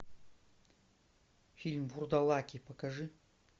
фильм вурдалаки покажи